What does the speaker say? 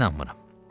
Niyə inanmıram?